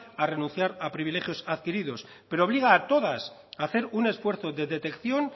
a renunciar a privilegios adquiridos pero obliga a todas a hacer un esfuerzo de detección